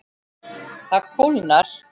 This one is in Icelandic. Það kólnar.